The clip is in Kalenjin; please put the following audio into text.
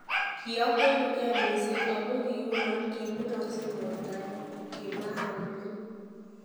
Kiokwerugei mising' ago kiiunoo kiminoksei bortonyun, kimwa Hamblin.